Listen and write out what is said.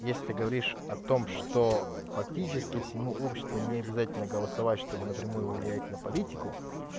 если ты говоришь о том что практически всему обществу необязательно голосовать чтобы напрямую влиять на политику